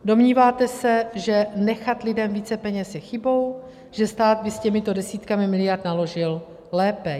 Domníváte se, že nechat lidem více peněz je chybou, že stát by s těmito desítkami miliard naložil lépe.